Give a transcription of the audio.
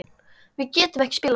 Við getum ekki spilað svona.